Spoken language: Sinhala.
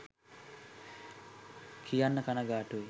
කියන්න කණගාටුයි